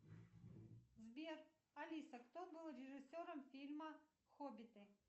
сбер алиса кто был режиссером фильма хоббиты